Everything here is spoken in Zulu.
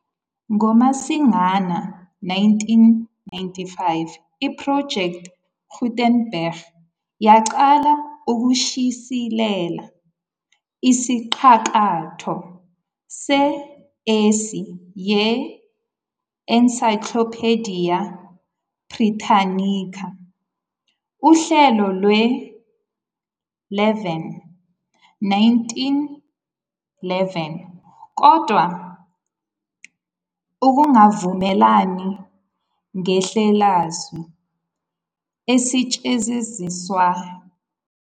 NgoMasingana 1995, i-Project Gutenberg yaqala ukushicilela isiqakaqo se- ASCII ye-Encyclopaedia Britannica, uhlelo lwe-11, 1911, kodwa ukungavumelane ngendlelasu esetshenziswayo kwamisa lowo msebenzi emva komqulu wokuqala.